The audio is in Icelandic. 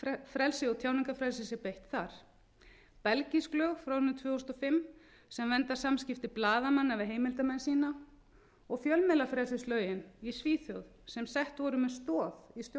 fjölmiðlafrelsi og tjáningarfrelsi sé beitt þar belgísk lög frá árinu tvö þúsund og fimm sem vernda samskipti blaðamanna við heimildarmenn sína og fjölmiðlafrelsislögin í svíþjóð sem sett voru með stoð í stjórnarskrá